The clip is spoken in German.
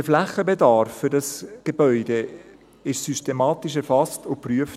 Der Flächenbedarf für dieses Gebäude wurde systematisch erfasst und geprüft.